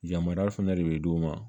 Yamariya fɛnɛ de be d'u ma